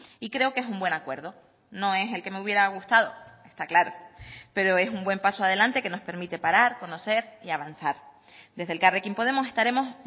y creo que es un buen acuerdo no es el que me hubiera gustado está claro pero es un buen paso adelante que nos permite parar conocer y avanzar desde elkarrekin podemos estaremos